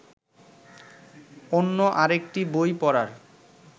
অন্য আরেকটি বই পড়ার